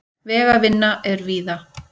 Vegavinna er víða